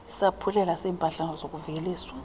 isaphulelo seeempahla zokuveliswa